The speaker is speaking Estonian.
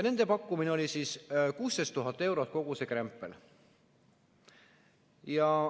Nende pakkumine oli 16 000 eurot kogu see krempel.